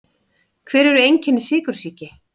Hver eru einkenni sykursýki?